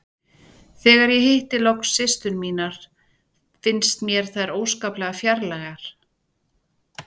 Þegar ég hitti loks systur mínar fannst mér þær óskaplega fjarlægar.